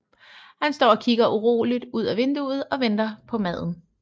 Han står og kigger uroligt ud af vinduet og venter på maden